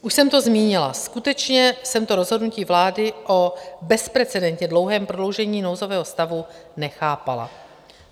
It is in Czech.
Už jsem to zmínila, skutečně jsem to rozhodnutí vlády o bezprecedentně dlouhém prodloužení nouzového stavu nechápala.